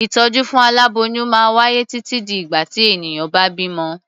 Ìtọ́jú fún aláboyún máa wáyé títí di ìgbà tí ènìyàn bá bímọ.